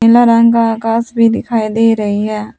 नीले रंग का आकाश भी दिखाई दे रहा है।